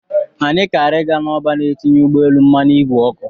Anyị kara ị ga n'ọba a na-etinye ụgbọelu mmanụ ìgwè oku.